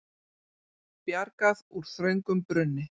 Bjargað úr þröngum brunni